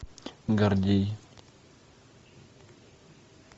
гордей